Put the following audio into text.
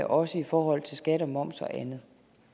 også i forhold til skat moms og andet